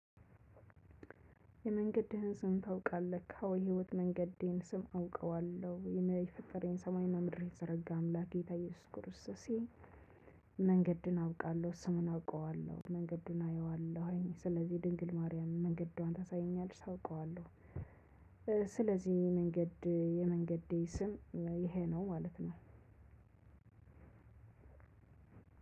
የመንገድህን ስም ታውቃለህ? አዎ የህይወት መንገዴን ስም አውቀዋለሁ የፈጠረኝ ሰማይና ምድር የዘረጋ አምላኬ ጌታየው ስኩርሰሴ። መንገድን አውቃለሁ ስሙን አውቀዋለሁ መንገዱን አየዋለሁ ስለዚህ ድንግል ማርያምን መንገዷን ታሳየኛለች አውቀዋለሁ። ስለዚህ መንገድ የመንገዴ ስም ይሄ ነው ማለት ነው።